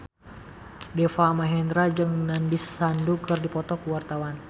Deva Mahendra jeung Nandish Sandhu keur dipoto ku wartawan